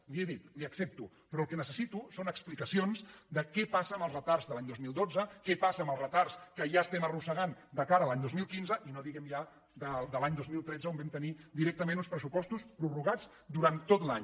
li ho he dit li ho accepto però el que necessito són explica· cions de què passa amb els retards de l’any dos mil dotze què passa amb els retards que ja estem arrossegant de ca·ra a l’any dos mil quinze i no diguem ja de l’any dos mil tretze on vam tenir directament uns pressupostos prorrogats durant tot l’any